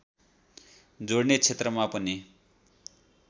जोड्ने क्षेत्रमा पनि